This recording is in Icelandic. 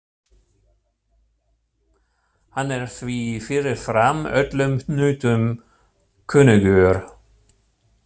Hann er því fyrirfram öllum hnútum kunnugur.